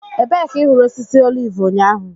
Ebee ka ị hụrụ osisi oliv ụnyaahụ?